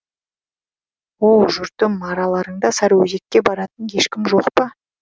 оу жұртым араларыңда сарыөзекке баратын ешкім жоқ па